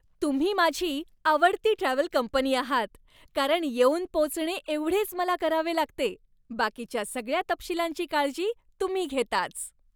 तुम्ही माझी आवडती ट्रॅव्हल कंपनी आहात कारण येऊन पोचणे एवढेच मला करावे लागते. बाकीच्या सगळ्या तपशिलांची काळजी तुम्ही घेताच.